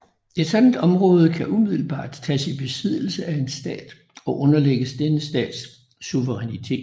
Et sådant område kan umiddelbart tages i besiddelse af en stat og underlægges denne stats suverænitet